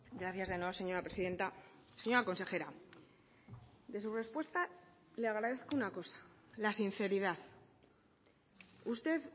gracias de nuevo señora presidenta señora consejera de su respuesta le agradezco una cosa la sinceridad usted